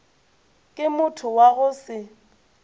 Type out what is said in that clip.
ke motho wa go se